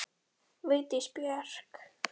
Vigdís Björk.